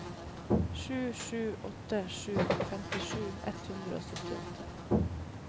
sju sju åtte sju femtisju ett hundre og syttiåtte